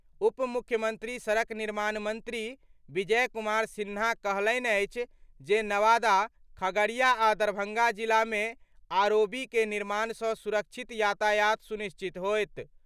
उप मुख्यमंत्री सड़क निर्माण मंत्री विजय कुमार सिन्हा कहलनि अछि जे नवादा, खगड़िया आ दरभंगा जिला मे आरओबी के निर्माण सँ सुरक्षित यातायात सुनिश्चित होएत।